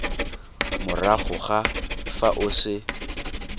morago ga fa o se